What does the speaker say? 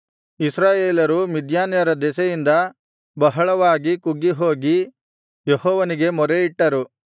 ಇಸ್ರಾಯೇಲರು ಮಿದ್ಯಾನ್ಯರ ದೆಸೆಯಿಂದ ಬಹಳವಾಗಿ ಕುಗ್ಗಿಹೋಗಿ ಯೆಹೋವನಿಗೆ ಮೊರೆಯಿಟ್ಟರು